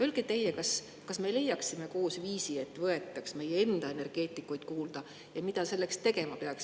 Öelge teie, kas me leiaksime koos viisi, et võetaks meie enda energeetikuid kuulda, ja mida selleks tegema peaks.